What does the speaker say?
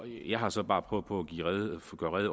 jeg har så bare prøvet på